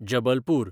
Jabalpur